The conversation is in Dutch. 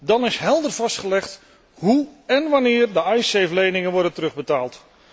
Dan is helder vastgelegd hoe en wanneer de Icesave leningen worden terugbetaald.